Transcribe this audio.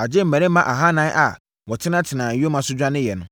agye mmarima ahanan a wɔtenatenaa nyoma so dwaneeɛ no.